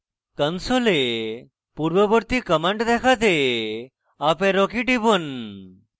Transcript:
console পূর্ববর্তী command দেখাতে up arrow key টিপুন